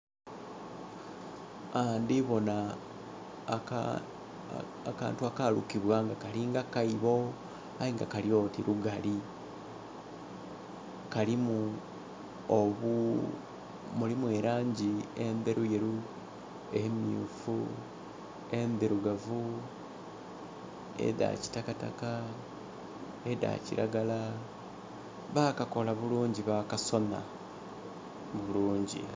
Aa ndibona akantu akalukibwa nga kalinga kaibo ayenga kalyoti lugali mulimu elanji ederuyeru, emyufu, endhilugavu, eda kitakataka nhedha kilagala. Bakakola bulungi bakasonha bulungi